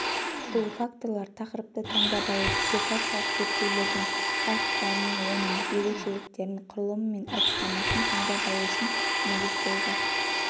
бұл факторлар тақырыпты таңдап алу диссертациялық зерттеудің бағыттарын оның ерекшеліктерін құрылымы мен әдіснамасын таңдап алу үшін негіз болды